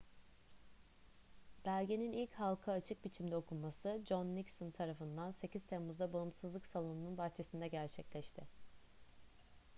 belgenin ilk halka açık biçimde okunması john nixon tarafından 8 temmuz'da bağımsızlık salonu'nun bahçesinde gerçekleşti